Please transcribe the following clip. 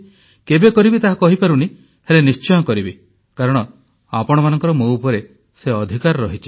କେବେ କରିବି ତାହା କହିପାରୁନି ହେଲେ କରିବି ନିଶ୍ଚୟ କାରଣ ଆପଣମାନଙ୍କର ମୋ ଉପରେ ସେ ଅଧିକାର ରହିଛି